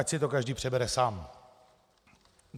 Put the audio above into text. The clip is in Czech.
Ať si to každý přebere sám.